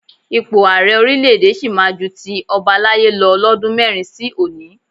Ipò Ààrẹ orílẹ̀ èdè sì máa ju ti ọbalaye lọ lọ́dún mẹ́rin sí òní